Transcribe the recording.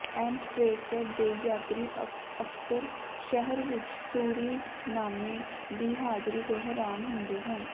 ਐਮਸਟ੍ਰੈਸਟਰ ਦੇ ਯਾਤਰੀ ਅਕਸਰ ਸ਼ਹਿਰ ਵਿੱਚ ਸੂਰੀਨਾਮੇ ਦੀ ਹਾਜ਼ਰੀ ਤੋਂ ਹੈਰਾਨ ਹੁੰਦੇ ਹਨ